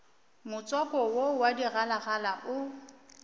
motswako wo wa digalagala o